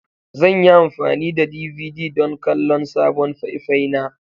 Zan yi amfani da DVD don kallon sabon faifai na.